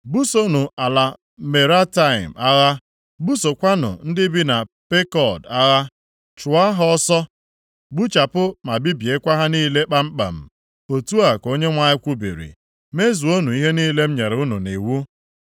“Busonụ ala Merataim agha, busokwanụ ndị bi na Pekod agha. Chụọ ha ọsọ, gbuchapụ ma bibiekwa ha niile kpamkpam.” Otu a ka Onyenwe anyị kwubiri. “Mezuonụ ihe niile m nyere unu nʼiwu.